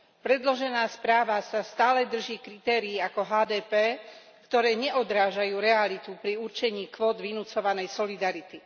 Predložená správa sa stále drží kritérií ako HDP, ktoré neodrážajú realitu pri určení kvót vynucovanej solidarity.